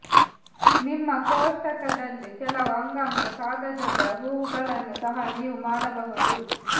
ನಿಮ್ಮ ಕೋಷ್ಟಕದಲ್ಲಿ ಕೆಲವು ಅಂಗಾಂಶ ಕಾಗದದ ಹೂವುಗಳನ್ನು ಸಹ ನೀವು ಮಾಡಬಹುದು